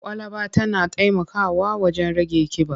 Kwalaba tana taimakawa wajen rage ƙiba.